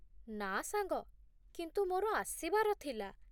ନା ସାଙ୍ଗ, କିନ୍ତୁ ମୋର ଆସିବାର ଥିଲା